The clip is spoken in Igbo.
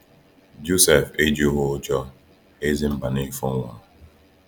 Jọsef ejughị ụjọ Eze Mbanefo nwụrụ.